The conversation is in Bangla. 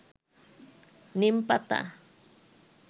নীম পাতা